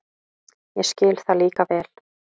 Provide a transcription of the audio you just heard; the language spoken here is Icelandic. Ég skil það líka vel.